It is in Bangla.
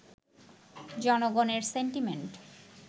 জনগণের সেন্টিমেন্ট